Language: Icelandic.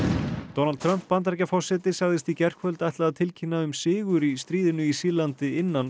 Donald Trump Bandaríkjaforseti sagðist í gærkvöld ætla að tilkynna um sigur í stríðinu í Sýrlandi innan